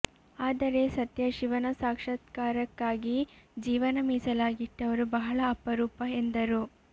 ಆದರೆ ಸತ್ಯ ಶಿವನ ಸಾಕ್ಷಾತ್ಕಾರಕ್ಕಾಗಿ ಜೀವನ ಮೀಸಲಾಗಿಟ್ಟವರು ಬಹಳ ಅಪರೂಪ ಎಂದರು